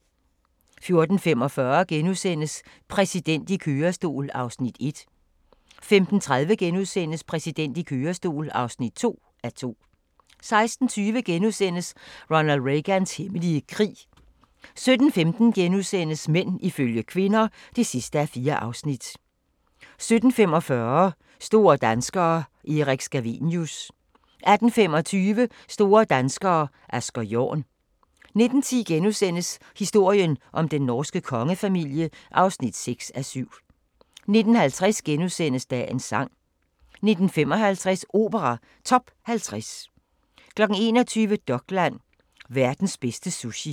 14:45: Præsidenten i kørestol (1:2)* 15:30: Præsidenten i kørestol (2:2)* 16:20: Ronald Reagans hemmelige krig * 17:15: Mænd ifølge kvinder (4:4)* 17:45: Store danskere – Erik Scavenius 18:25: Store danskere - Asger Jorn 19:10: Historien om den norske kongefamilie (6:7)* 19:50: Dagens sang * 19:55: Opera Top 50 21:00: Dokland: Verdens bedste sushi